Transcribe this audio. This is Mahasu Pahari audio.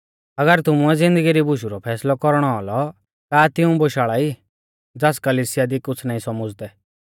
अगर तुमुऐ ज़िन्दगी री बुशु रौ फैसलौ कौरणौ औलौ का तिऊं बोशाल़ाई ज़ास कलिसिया दी कुछ़ नाईं सौमुझ़दै